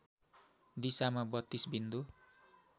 दिशामा ३२ बिन्दु